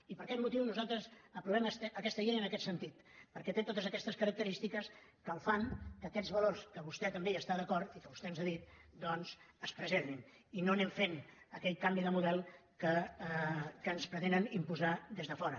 i per aquest motiu nosaltres aprovem aquesta llei en aquest sentit perquè té totes aquestes característiques que fan que aquests valors que vostè també hi està d’acord i que vostè ens ha dit es preservin i no anem fent aquell canvi de model que ens pretenen imposar des de fora